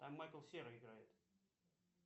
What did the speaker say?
там майкл серый играет